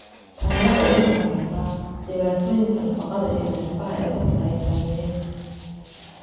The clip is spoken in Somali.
Tani waxay iyaduna keentaa dhibaatooyinka nafaqada iyo neerfaha ee dadka ay saameeyeen.